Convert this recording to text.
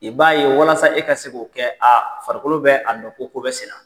I b'a ye walasa e ka se k'o kɛ aa farikolo bɛ a dɔ ko ko bɛ senna.